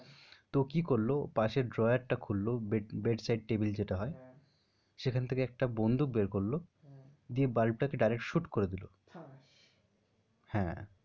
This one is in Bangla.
তো কি করল, পাশের drawer টা খুলল bed bedside table যেটা হয় সেখান থেকে একটা বন্দুক বের করল দিয়ে বাল্ব টাকে direct shoot করে দিল। হ্যাঁ,